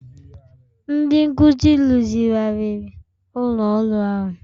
Ndị nkuzi rụzigharịrị ụlọ ọrụ ahụ